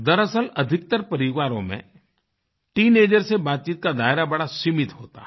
दरअसल अधिकतर परिवारों में टीनेजर्स से बातचीत का दायरा बड़ा सीमित होता है